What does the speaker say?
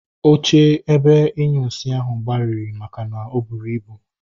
Oche ebe inyunsi ahụ gbajiri makana o buru ibu